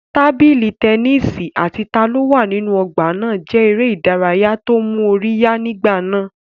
Tábìlì tẹnísì àti ta ló wà nínú ọgbà náà jẹ́ eré ìdárayá tó mú orí yá nígbà náà